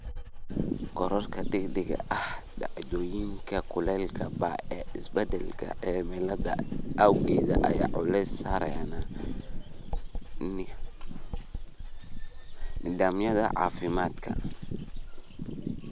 Korodhka degdega ah ee dhacdooyinka kulaylka ba'an ee isbeddelka cimilada awgeed ayaa culays saaraysa nidaamyada caafimaadka.